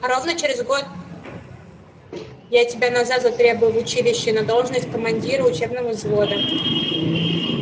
а ровно через год я тебя назад затребую в училище на должность командира учебного взвода